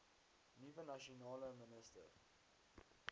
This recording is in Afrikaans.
nuwe nasionale minister